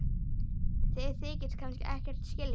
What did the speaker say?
Þið þykist kannski ekkert skilja?